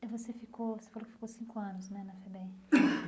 Eh você ficou você falou que ficou cinco anos né na FEBEM.